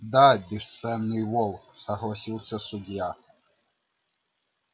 да бесценный волк согласился судья